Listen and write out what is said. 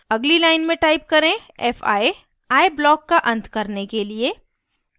अगली line में type करें fi i block का अंत करने के लिए